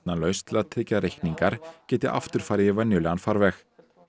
lausn til að tryggja að reikningar geti aftur farið í venjulegan farveg